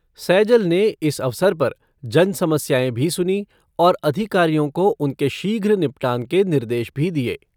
सैजल ने इस अवसर पर जनसमस्याएं भी सुनीं और अधिकारियों को उनके शीघ्र निपटान के निर्देश भी दिए।